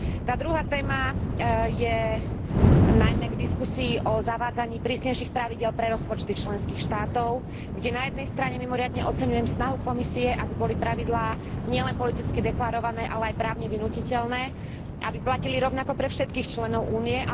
Tá druhá téma je najmä k diskusii o zavádzaní prísnejších pravidiel pre rozpočty členských štátov, kde na jednej strane mimoriadne oceňujem snahu Komisie, aby boli pravidlá nielen politicky deklarované, ale aj právne vynútiteľné, aby platili rovnako pre všetkých členov Únie.